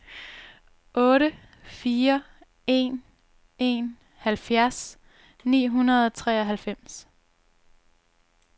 otte fire en en halvfjerds ni hundrede og treoghalvfems